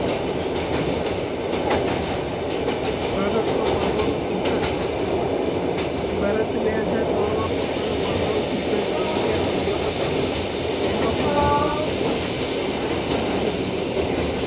ભારતનો પરમાણુ સિધ્ધાંત ભારત બે હજાર ત્રણમાં પોતાનો પરમાણુ સિધ્ધાંત કર્યો હતો તેનો સંબધો નીચે મુજબ છે.